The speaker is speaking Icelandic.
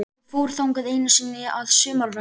Ég fór þangað einu sinni að sumarlagi.